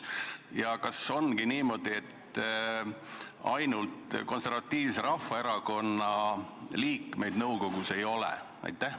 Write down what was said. Ja kas ongi niimoodi, et ainult Konservatiivse Rahvaerakonna liikmeid nõukogus ei ole?